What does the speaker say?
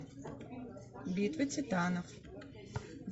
битва титанов